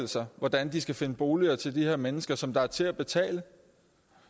sig hvordan de skal finde boliger til de her mennesker som er til at betale